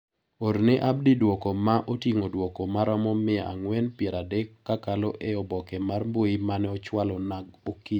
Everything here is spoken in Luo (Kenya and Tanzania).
Orne Abdi duoko ma otingo duoko maromo mia ang'wen piero adek kakalo e obke mar mbui mane ochwalo na oikinyi